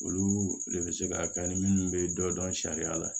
Olu de bɛ se ka kɛ ni minnu bɛ dɔ dɔn sariya la